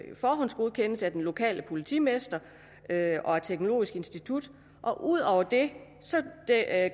forhåndsgodkendes af den lokale politimester og af teknologisk institut ud over det